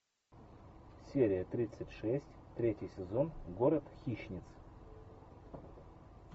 серия тридцать шесть третий сезон город хищниц